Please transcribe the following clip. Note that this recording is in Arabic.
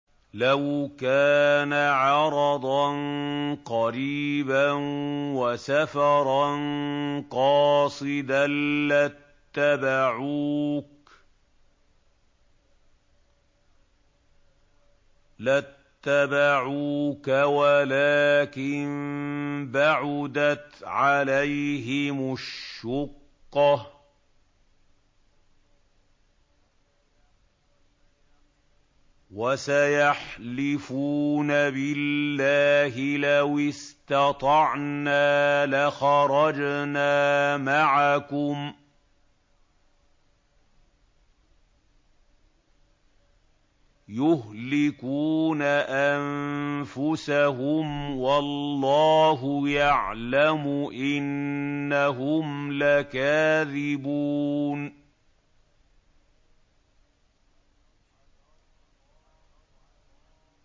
لَوْ كَانَ عَرَضًا قَرِيبًا وَسَفَرًا قَاصِدًا لَّاتَّبَعُوكَ وَلَٰكِن بَعُدَتْ عَلَيْهِمُ الشُّقَّةُ ۚ وَسَيَحْلِفُونَ بِاللَّهِ لَوِ اسْتَطَعْنَا لَخَرَجْنَا مَعَكُمْ يُهْلِكُونَ أَنفُسَهُمْ وَاللَّهُ يَعْلَمُ إِنَّهُمْ لَكَاذِبُونَ